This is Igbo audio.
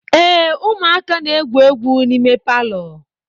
Ee, ụmụaka na-egwu egwu n'ime palọ